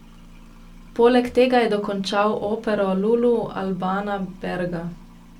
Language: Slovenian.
Poleg tega je dokončal opero Lulu Albana Berga.